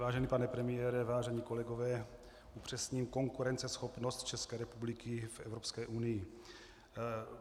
Vážený pane premiére, vážení kolegové, upřesním - konkurenceschopnost České republiky v Evropské unii.